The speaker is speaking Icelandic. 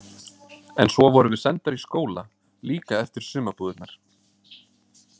En svo vorum við sendar í skóla líka eftir sumarbúðirnar.